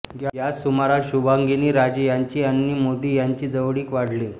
याच सुमारास शुभांगिनी राजे यांची आणि मोदी यांची जवळीक वाढली